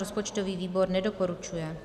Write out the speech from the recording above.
Rozpočtový výbor nedoporučuje.